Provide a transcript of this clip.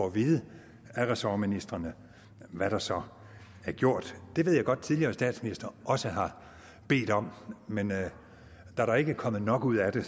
at vide af ressortministrene hvad der så er gjort det ved jeg godt at tidligere statsministre også har bedt om men da der ikke er kommet nok ud af det